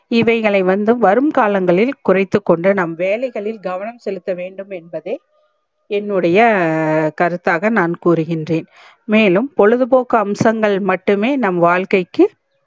இவைகளை வந்து வரும் காலங்களில் குறைத்துக் கொண்டு நம் வேலைகளில் கவனம் செலுத்த வேண்டும் என்பதே என்னுடைய கருத்தாக நான் கூறுகின்றேன் மேலும் பொழுதுபோக்கு அம்சங்கள் மட்டுமே நம் வாழ்கைக்கு